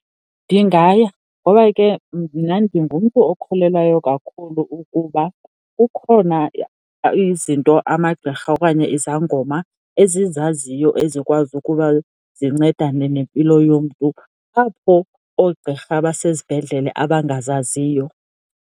Ndingaya, ngoba ke mna ndingumntu okholelwayo kakhulu ukuba kukhona izinto amagqirha okanye izangoma ezizaziyo, ezikwazi ukuba zincedane nempilo yomntu, apho oogqirha basezibhedlele abangazaziyo.